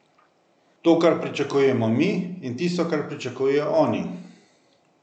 To, kar pričakujemo mi, in tisto, kar pričakujejo oni.